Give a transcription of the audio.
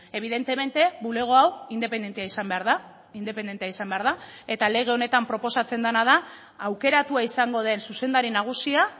evidentemente bulego hau independentea izan behar da independentea izan behar da eta lege honetan proposatzen dena da aukeratua izango den zuzendari nagusia